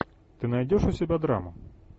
ты найдешь у себя драму